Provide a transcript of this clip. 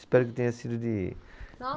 Espero que tenha sido de